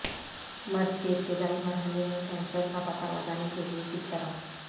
مرض کے ابتدائی مرحلے میں کینسر کا پتہ لگانے کے لئے کس طرح